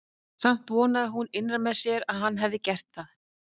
Samt vonaði hún innra með sér að hann hefði gert það.